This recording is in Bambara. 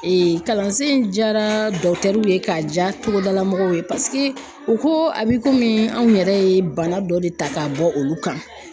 kalansen in diyara ye k'a diya togodala mɔgɔw ye paseke u ko a bɛ komi anw yɛrɛ ye bana dɔ de ta k'a bɔ olu kan.